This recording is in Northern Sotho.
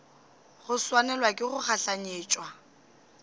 go swanelwa ke go gahlanetšwa